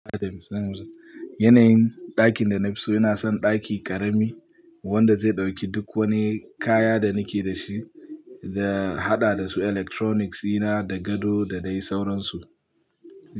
Yanayin ɗakin da na fi so yana son ɗaki ƙarami wanda zai ɗauki duk wani kaya da nake da shi da haɗa da su electronics ɗina da gado da dai sauransu.